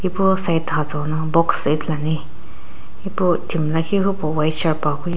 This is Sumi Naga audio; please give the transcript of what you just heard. ipu side Ithulu ane epu timi lakhi hupo white shirt --